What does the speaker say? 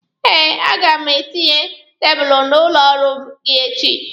Eh, a ga m etinye tebulu n'ụlọ ọrụ gị echi.